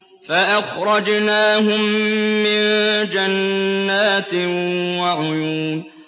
فَأَخْرَجْنَاهُم مِّن جَنَّاتٍ وَعُيُونٍ